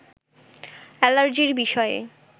অ্যালার্জির বিষয়ে